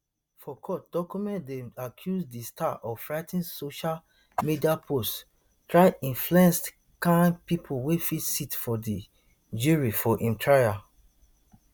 for court documents dem accuse di star of writing social media posts try influenced kain pipo wey fit sit for di jury for im trial